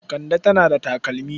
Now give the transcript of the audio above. Kande tana da takalmi.